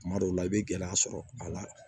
Kuma dɔw la i bɛ gɛlɛya sɔrɔ a la